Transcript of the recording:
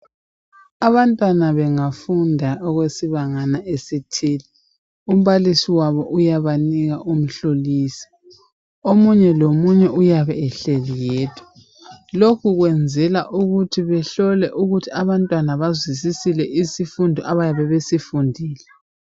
Abantwana bengafunda okwesibangana esithile umbalisi wabo uyabanika umhloliso omunye lomunye uyabe ehleli yedwa lokhu kwenzela ukuthi behlole ukuthi abantwana bazwisisile isikundo abayabe besifundile